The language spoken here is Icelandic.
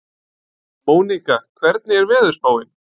Mónika, hvernig er veðurspáin?